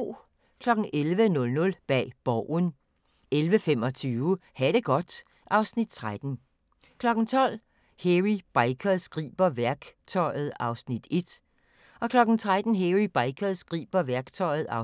11:00: Bag Borgen 11:25: Ha' det godt (Afs. 13) 12:00: Hairy Bikers griber værktøjet (1:3) 13:00: Hairy Bikers griber værktøjet (2:3)